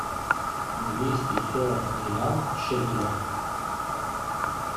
двести сорок реал в шекелях